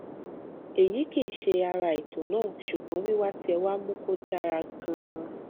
èyí kì í ṣe ara ètò náà ṣùgbọn wíwá tí ẹ wá mú kó dára ganan